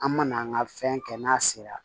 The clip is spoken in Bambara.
An mana an ka fɛn kɛ n'a sera